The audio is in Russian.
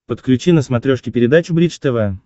подключи на смотрешке передачу бридж тв